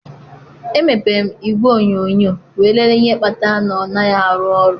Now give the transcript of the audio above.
Emepere m igwe onyonyo wee lelee ihe kpatara na ọ naghị arụ ọrụ.